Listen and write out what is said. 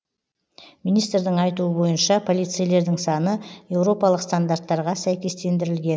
министрдің айтуы бойынша полицейлердің саны еуропалық стандарттарға сәйкестендірілген